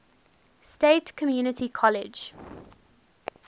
state community college